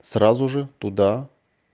сразу же туда